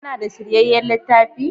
Kana da shiryayyan littafi?